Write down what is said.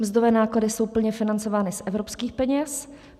Mzdové náklady jsou plně financovány z evropských peněz.